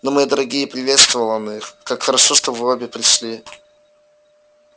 ну мои дорогие приветствовал он их как хорошо что вы обе пришли